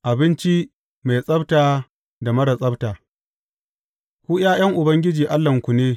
Abinci mai tsabta da marar tsabta Ku ’ya’yan Ubangiji Allahnku ne.